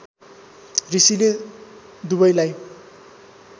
ऋषिले दुवैलाई